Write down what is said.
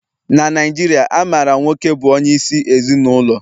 Na Naijiria, a maara nwoke bụ onyeisi ezinụlọ